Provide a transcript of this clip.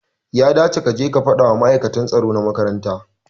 Ya dace kace ka fadawa ma'aikata tsaro na makaranta